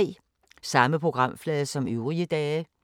Samme programflade som øvrige dage